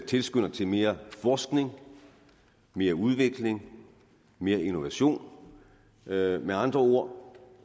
tilskynder til mere forskning mere udvikling mere innovation med med andre ord